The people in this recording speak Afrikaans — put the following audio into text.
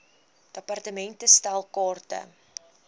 department stel kaarte